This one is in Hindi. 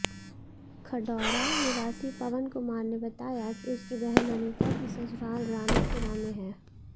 खडौरा निवासी पवन कुमार ने बताया कि उसकी बहन अनीता की ससुराल रानापुरा में है